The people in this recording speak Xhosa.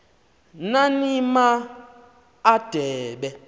nani ma adebe